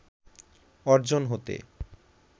অর্জন হতে